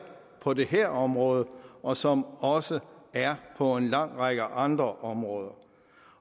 på det her område og som også der er på en lang række andre områder